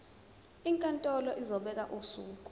inkantolo izobeka usuku